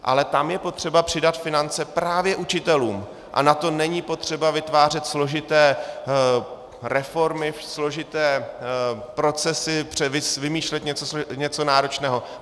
Ale tam je potřeba přidat finance právě učitelům a na to není potřeba vytvářet složité reformy, složité procesy, vymýšlet něco náročného.